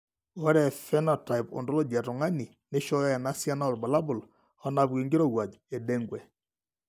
Ore ephenotype ontology etung'ani neishooyo enasiana oorbulabul onaapuku enkirowuaj eDengue.